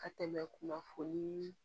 Ka tɛmɛ kunnafoni